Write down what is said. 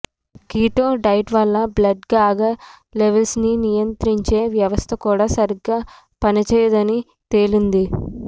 keto diet వల్ల blood sugar లెవెల్స్ని నియంత్రించే వ్యవస్థ కూడా సరిగ్గా పనిచేయదని తేలింది